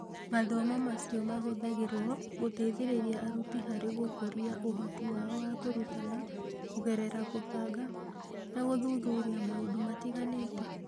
Mathomo macio mahũthagĩrũo gũteithĩrĩria arutani harĩ gũkũria ũhoti wao wa kũrutana kũgerera kũbanga na gũthuthuria maũndũ matiganĩte.